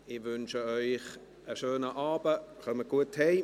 Ich wünsche Ihnen einen schönen Abend, kommen Sie gut nach Hause.